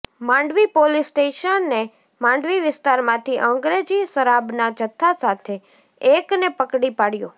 Mandvi police સ્ટેશને માંડવી વિસ્તારમાંથી અંગ્રેજી શરાબના જથ્થા સાથે એક ને પકડી પાડ્યો